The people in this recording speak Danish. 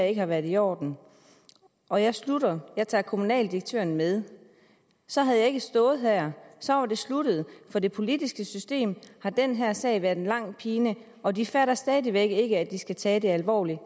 ikke været i orden og jeg slutter og jeg tager kommunaldirektøren med så havde jeg ikke stået her så var det sluttet for det politiske system har den her sag været en lang pine og de fatter stadigvæk ikke at de skal tage det alvorligt